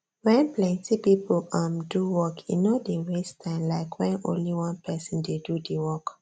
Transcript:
when plenty people um do work e no dey waste time like when only one person dey do the work